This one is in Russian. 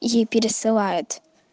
ей пересылает